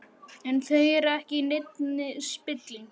En þau eru ekki í neinni spillingu.